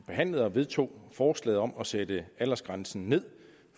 behandlede og vedtog forslaget om at sætte aldersgrænsen ned